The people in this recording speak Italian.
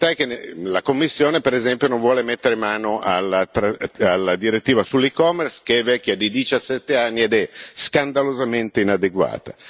La verità è che la Commissione, per esempio, non vuole mettere mano alla direttiva sull' e commerce, che è vecchia di 17 anni ed è scandalosamente inadeguata.